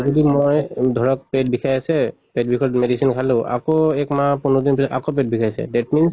যদি মই ধৰক পেট বিষাই আছে, পেট বিষত medicine খালো আকৌ এক মাহ পোন্ধৰ দিন আকৌ পেট বিষাইছে। that means